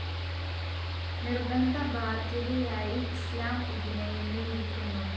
നിർബന്ധ ബാദ്ധ്യതയായി ഇസ്ലാം ഇതിനെ എണ്ണിയിരിക്കുന്നു.